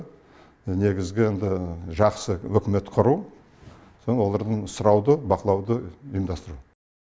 негізгі енді жақсы үкімет құру соң олардан сұрауды бақылауды ұйымдастыру